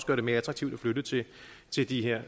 gøre det mere attraktivt at flytte til de her